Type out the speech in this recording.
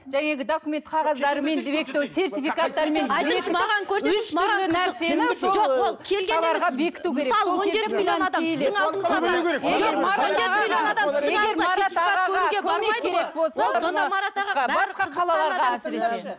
жәй енді документ қағаздарымен